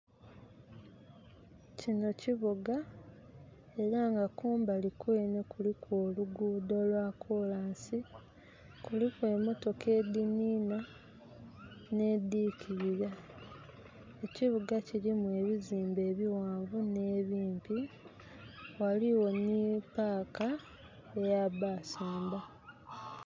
Kinho kibuga era nga kumbali kwenhe kuliku oluguudo lwa kolansi kuliku emotoka edhinhinha nh'edhikirira. Ekibuga kirimu ebizimbe ebighanvu nh'ebimpi, ghaligho nhi paaka eya baasi emba.